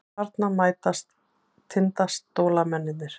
Þarna mætast Tindastólsmennirnir.